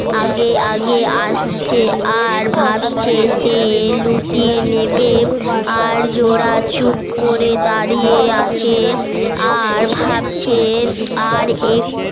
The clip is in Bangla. আগে আগে আসছে আর ভাবছে সে লুটিয়ে নেবে আর জোলা চুপ করে দাড়িয়ে আছে আর ভাবছে